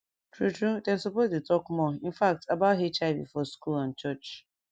true true dem suppose dey talk more infact about hiv for school and church